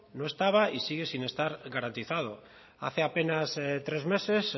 no estaba y sigue sin estar garantizado hace apenas tres meses